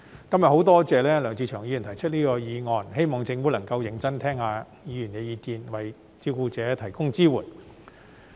今天我很多謝梁志祥議員提出這項議案，希望政府能夠認真聆聽議員的意見，為照顧者提供支援。